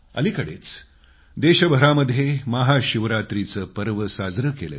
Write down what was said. अलिकडेच देशभरामध्ये महाशिवरात्रीचं पर्व साजरं केलं